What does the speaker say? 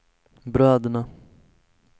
bröderna